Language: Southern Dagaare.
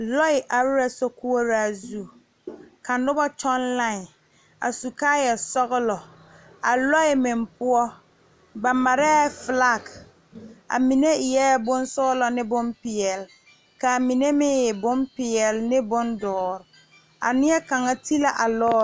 Lɔɛ are la sokoɔraa zu ka noba kyɔŋ line a su kaayasɔglɔ a lɔɛ meŋ poɔ ba marɛɛ flag a mine e la bonsɔglɔ ne bonpeɛlle ka a mine meŋ e bonpeɛlle ne bondoɔre a neɛ kaŋa ti la a lɔɔre.